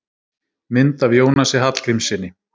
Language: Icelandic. Mynd af Jónasi Hallgrímssyni.